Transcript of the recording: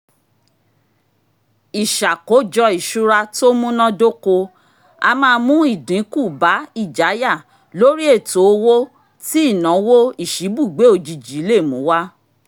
ìṣàkójọ ìṣura tó múnádóko a máa mú ìdinku bá ìjáyà lóri ètò owó tí ìnáwó ìṣíbùgbé òjijì lè mú wá